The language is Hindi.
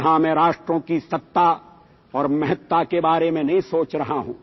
यहां मैं राष्ट्रों की सत्ता और महत्ता के बारे में नहीं सोच रहा हूँ